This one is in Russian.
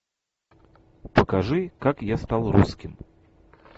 покажи как я стал русским